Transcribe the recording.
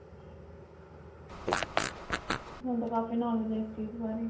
ਤੁਹਾਨੂੰ ਤਾਂ ਕਾਫੀ knowledge ਹੈ ਇਸ ਚੀਜ਼ ਬਾਰੇ.